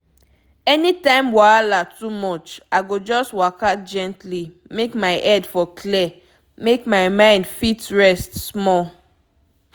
anytime wahala too much i go just waka gently make my head for clear make my mind fit rest small.